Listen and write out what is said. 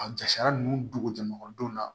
A jasara ninnu dogo jamadenw na